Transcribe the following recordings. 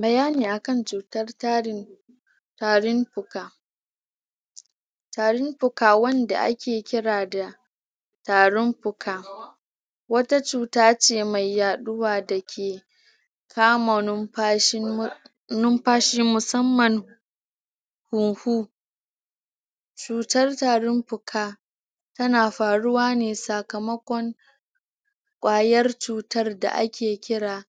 Bayani akan cutar tarin puka tarin puka wanda ake kira da tarin puka wata cuta ce mai yaɗuwa da ke kama numpashin...numpashi musamman hunhu cutar tarin puka tana faruwa ne sakamakon ƙwayar cutar da ake kira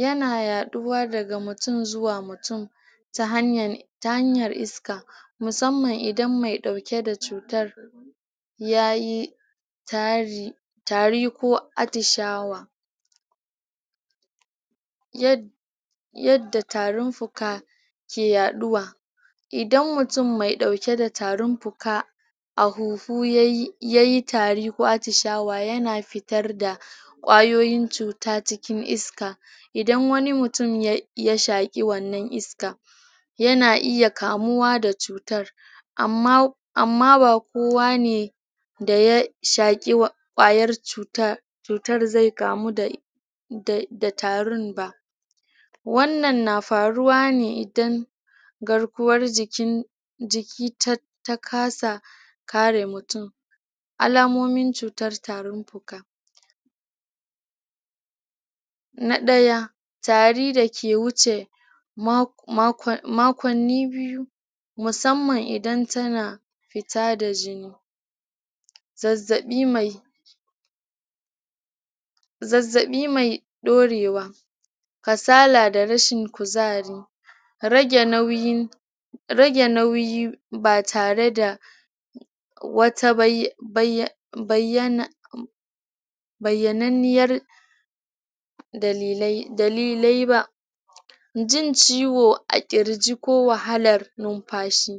yana yaɗuwa daga mutum zuwa mutum ta hanyan iska, musamman idan mai ɗauke da cutan yayi tari ko attishawa yadda tarin fuka ke yaɗuwa idan mutum mai ɗauke da tarin fuka a hunhu yayi tari ko attishawa yana fitar da ƙwayoyin cuta cikin iska idan wani mutum ya shaƙi wannan iska yana iya kamuwa da cutar amma ba kowa ne da ya shaƙi da cutar zai kamu da da tarin ba, wannan na faruwa ne idan garkuwar jiki ta kasa kare mutum, alamomin cutar tarin puka na ɗaya, tari dake wuce makonni biyu, musamman idan tana fitar da jini zazzaɓi mai zazzaɓi mai ɗorewa, kasala da rashin kuzari, rage nauyi ba tare da wata um bayyananniyar dalilai ba jin ciwo a ƙirji ko wahalar numpashi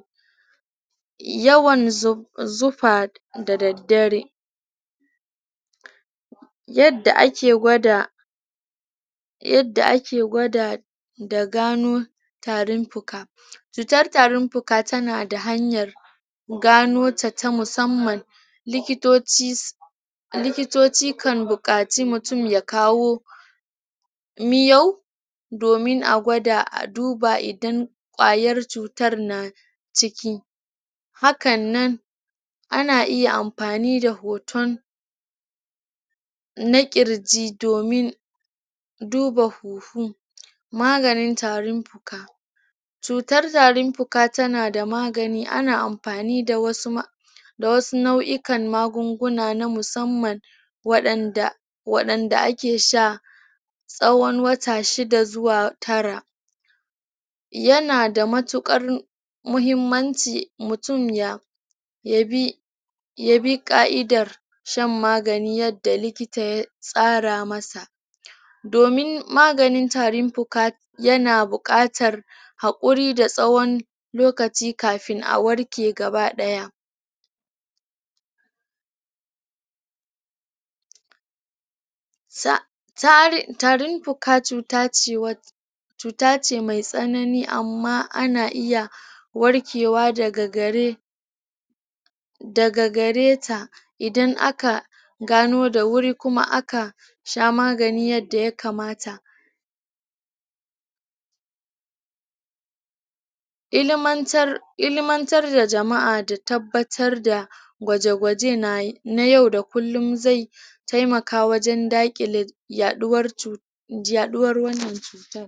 yawan zupa dadaddare yadda ake gwada yadda ake gwada da gano tarin puka, cutar tarin puka tana da hanyar gano ta ta musamman likitoci kan buƙaci mutum ya kawo miyau domin a gwada a duba idan kwayar cutar na ciki, hakan nan ana iya ampani da hoton na ƙirji domin duba hunhu, maganin tarin puka cutar tarin puka tana da magani, ana ampani da wasu um da wasu nau'ikan magunguna na musamman, waɗanda ake sha tsawon wata shida zuwa tara yana da mutuƙar muhimmanci mutum ya bi ya bi ka'idar shan magani yadda likita ya tsara masa domin maganin tarin puka yana buƙatar haƙuri da tsawar lokaci kafin a warke gabaɗaya tarin puka cuta ce...cuta ce mai tsanani amma ana iya warkewa daga gare daga gareta idan aka gano da wuri kuma aka sha magani yadda ya kamata ilimantar da jama'a da tabbatar da gwaje gwaje na yau da kullum zai taimaka wajen daƙilla yaɗuwar wannan cutar.